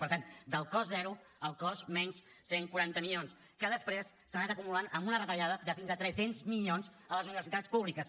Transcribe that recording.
per tant del cost zero al cost menys cent i quaranta milions que després s’ha anat acumulant amb una retallada de fins a tres cents milions a les universitats públiques